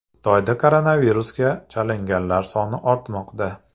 Xitoyda koronavirusga chalinganlar soni ortmoqda.